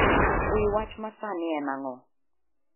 wi wach masani en ang'o